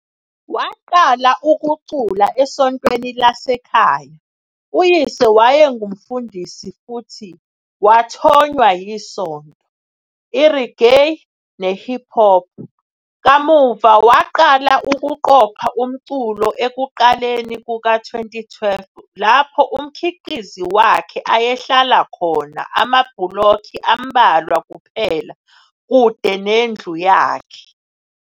Waqala ukucula esontweni lasekhaya uyise waye ngumfundisi futhi wathonywa isonto, i-reggae, ne-hip hop. Kamuva waqala ukuqopha umculo ekuqaleni kuka-2012 lapho umkhiqizi wakhe ayehlala khona amabhulokhi ambalwa kuphela kude nendlu yakhe.